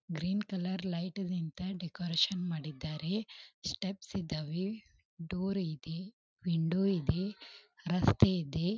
Green colour light ಇಂತ decoration ಮಾಡಿದಾರೆ steps ಇದ್ದವೆ ಡೋರ್ ಇದೆ ವಿಂಡೋ ಇದೆ ರಸ್ತೆ ಇದೆ.